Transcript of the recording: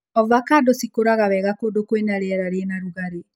Ovacando cikũraga wega kũndũ kwĩna rĩera rĩna rũgarĩ.